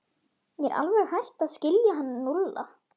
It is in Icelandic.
Ég er alveg hætt að skilja hann Lúlla.